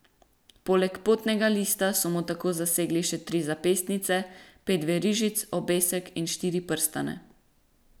Poleg potnega lista so mu tako zasegli še tri zapestnice, pet verižic, obesek in štiri prstane.